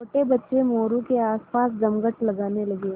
छोटे बच्चे मोरू के आसपास जमघट लगाने लगे